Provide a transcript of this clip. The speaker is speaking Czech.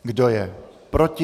Kdo je proti?